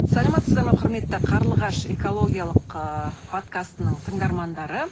саламатсыздар ма құрметті қарлығаш экологиялық ыыы подкастының тыңдармандары